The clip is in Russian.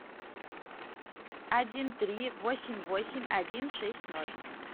один три восемь восемь один шесть ноль